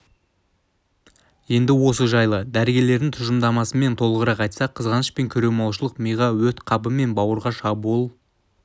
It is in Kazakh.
енді осы жайлы дәрігерлердің тұжырымдамасымен толығырақ айтсақ қызғаныш пен көреалмаушылық миға өт қабы мен бауырға шабуыл